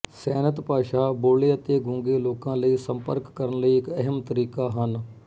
ਸੈਨਤ ਭਾਸ਼ਾ ਬੋਲ਼ੇ ਅਤੇ ਗੂੰਗੇ ਲੋਕਾਂ ਲਈ ਸੰਪਰਕ ਕਰਨ ਲਈ ਇੱਕ ਅਹਿਮ ਤਰੀਕਾ ਹਨ